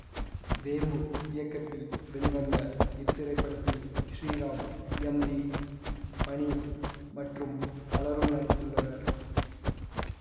தேம்பு இயக்கத்தில் வெளிவந்த இத்திரைப்படத்தில் ஸ்ரீராம் எம் வி மணி மற்றும் பலரும் நடித்துள்ளனர்